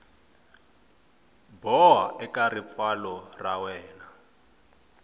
boha eka ripfalo ra wena